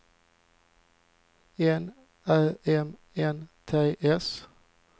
N Ä M N T S